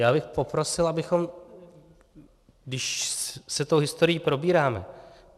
Já bych poprosil, abychom, když se tou historií probíráme...